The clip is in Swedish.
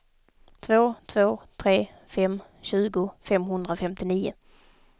två två tre fem tjugo femhundrafemtionio